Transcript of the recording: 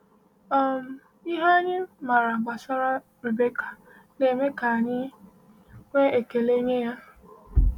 um Ihe anyị maara gbasara Rebekah na - eme ka anyị nwee ekele nye ya.